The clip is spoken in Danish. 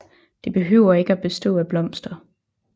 Det behøver ikke at bestå af blomster